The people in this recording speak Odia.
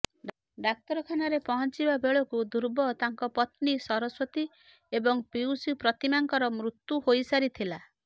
ଡାକ୍ତରଖାନାରେ ପହଞ୍ଚିବା ବେଳକୁ ଧ୍ରୁବ ତାଙ୍କ ପତ୍ନୀ ସରସ୍ୱତୀ ଏବଂ ପିଉସୀ ପ୍ରତିମାଙ୍କର ମୃତ୍ୟୁ ହୋଇସାରିଥିଲା